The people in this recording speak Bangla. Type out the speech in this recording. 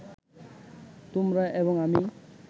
তোমরা এবং আমি